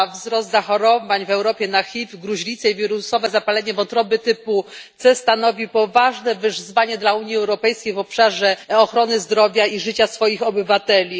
Wzrost zachorowań w Europie na HIV, gruźlicę i wirusowe zapalenie wątroby typu C stanowi poważne wyzwanie dla Unii Europejskiej w obszarze ochrony zdrowia i życia swoich obywateli.